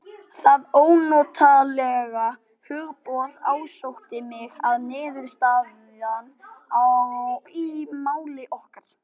Það ónotalega hugboð ásótti mig að niðurstaðan í máli okkar